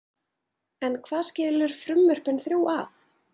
En hvað skilur frumvörpin þrjú að?